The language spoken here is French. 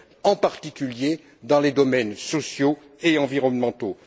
en particulier dans les domaines sociaux et environnementaux.